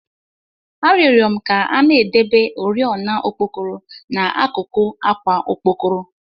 A rioro m ka a na-edebe oriọna okpokoro n'akụkụ àkwà okpokoro